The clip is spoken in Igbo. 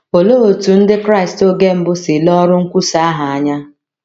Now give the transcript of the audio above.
Olee otú Ndị Kraịst oge mbụ si lee ọrụ nkwusa ahụ anya?